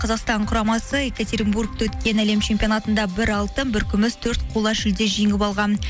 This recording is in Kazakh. қазақстан құрамасы екатеринбургте өткен әлем чемпионатында бір алтын бір күміс төрт қола жүлде жеңіп алған